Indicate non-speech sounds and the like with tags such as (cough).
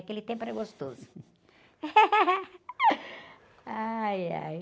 Aquele tempo era gostoso. (laughs) Ai, ai...